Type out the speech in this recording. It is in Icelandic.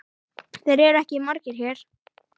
Þeir eru ekki margir hér.